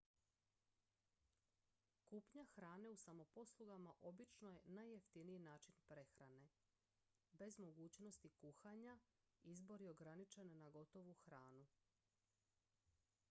kupnja hrane u samoposlugama obično je najjeftiniji način prehrane bez mogućnosti kuhanja izbor je ograničen na gotovu hranu